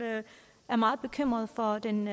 er meget bekymret for den